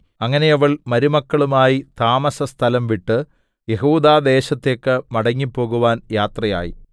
അങ്ങനെ അവൾ മരുമക്കളുമായി താമസസ്ഥലം വിട്ടു യെഹൂദാദേശത്തേക്കു മടങ്ങിപ്പോകുവാൻ യാത്രയായി